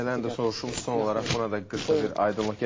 Bir məsələni də soruşum, son olaraq buna da qısa bir aydınlıq gətirək.